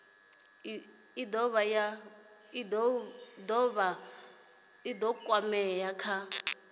i dovha ya kwamea kha